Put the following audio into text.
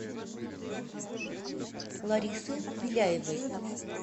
ларисы беляевой